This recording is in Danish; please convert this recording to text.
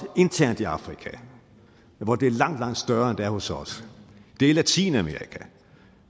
internt i afrika hvor det er langt langt større end det er hos os det er latinamerika